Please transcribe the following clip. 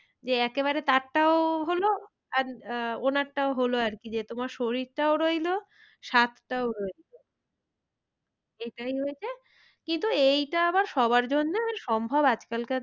যে একেবারে তার টাও হলো আর আহ ওনারটাও হলো আর কি যে তোমার শরীরটাও রইলো স্বাদটাও রইলো এটাই হয়েছে। কিন্তু এইটা আবার সবার জন্যে সম্ভব আজ কালকার,